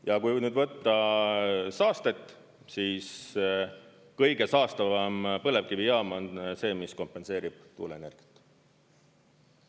Ja kui nüüd võtta saastet, siis kõige saastavam põlevkivijaam on see, mis kompenseerib tuuleenergiat.